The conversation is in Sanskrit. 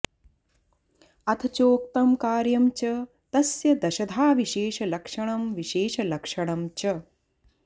अथ चोक्तं कार्यं च तस्य दशधा विशेषलक्षणमविशेषलक्षणं च